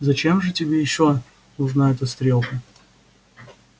зачем же тебе ещё нужна эта стрелка